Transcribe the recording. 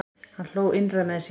Hann hló innra með sér.